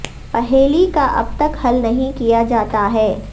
پہیلی کا اب تک حل نہیں کیا جاتا ہے